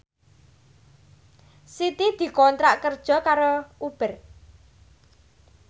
Siti dikontrak kerja karo Uber